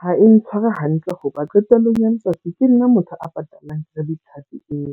Ha e ntshware hantle hoba qetellong ya letsatsi ke nna motho a patalang credit card eo.